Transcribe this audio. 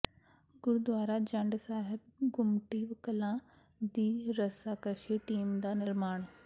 ਗੁਰਦੁਆਰਾ ਜੰਡ ਸਾਹਿਬ ਗੁੰਮਟੀ ਕਲਾਂ ਦੀ ਰੱਸਾਕੱਸ਼ੀ ਟੀਮ ਦਾ ਨਿਰਮਾਣ